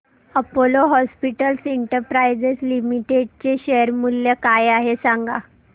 Apollo hospitals enterprise limited चे share मूल्य काय आहे सांगा